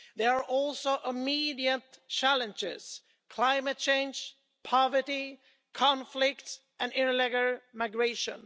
There are also immediate challenges climate change, poverty, conflict and irregular migration.